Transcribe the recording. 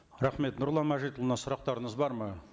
рахмет нұрлан мәжітұлына сұрақтарыңыз бар ма